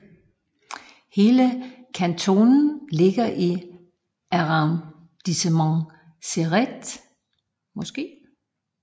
Hele kantonen ligger i Arrondissement Céret